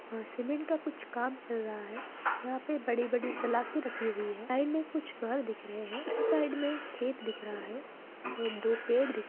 वहां सीमेंट का कुछ काम चल रहा है यहां पर बड़े-बड़े सलाखें रखी हुई है साइड में कुछ घर दिख रहे हैं और इस साइड में खेत दिख रहा है और दो पेड़ दिख --